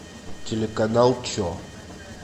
телеканал че